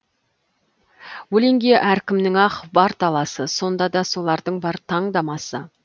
өлеңге әркімнің ақ бар таласы сонда да солардың бар таңдамасы